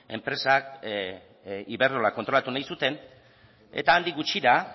enpresak iberdrola kontrolatu nahi zuten eta handik gutxira